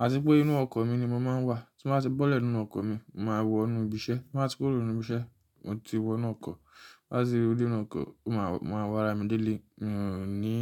À ti pé inú ọkọ̀ mi ni mo máa ń wà. Tí mó bá ti bọ́lẹ̀ nínú ọkọ̀ mi, mo máa wọ inú ìbíṣẹ́. Mó bá ti kóró nínú ìbíṣẹ́, mo ti wọ inú ọkọ̀. Ti mó bá ti rú dé inú ọkọ̀, mo máa wọ ara mi délé, mi ò ní.